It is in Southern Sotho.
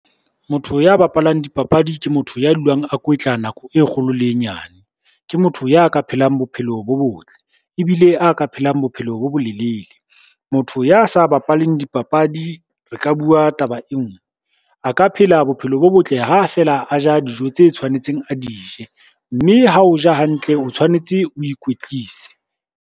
Motho ya bapalang dipapadi ke motho ya dulang a kwetla nako e kgolo le e nyane, ke motho ya ka phelang bophelo bo botle ebile a ka phelang bophelo bo bolelele. Motho ya sa bapaleng dipapadi re ka bua taba e ngwe, a ka phela bophelo bo botle ha feela a ja dijo tse tshwanetseng a di je, mme ha o ja hantle o tshwanetse o ikwetlise.